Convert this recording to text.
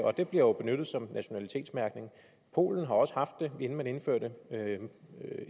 og det bliver jo benyttet som nationalitetsmærkning polen har også haft det inden man indførte